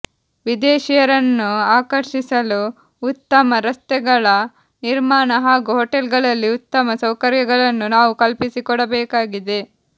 ವಿದೇಶಿಯರನ್ನು ಆಕರ್ಷಿಸಲು ಉತ್ತಮ ರಸ್ತೆಗಳ ನಿರ್ಮಾಣ ಹಾಗೂ ಹೊಟೇಲ್ಗಳಲ್ಲಿ ಉತ್ತಮ ಸೌಕರ್ಯಗಳನ್ನು ನಾವು ಕಲ್ಪಿಸಿಕೊಡಬೇಕಾಗಿದೆ